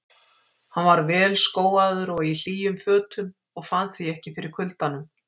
Hann var vel skóaður og í hlýjum fötum og fann því ekki fyrir kuldanum.